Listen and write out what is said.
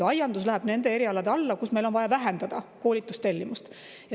Aiandus läheb nende erialade alla, kus meil on vaja vähendada koolitustellimust.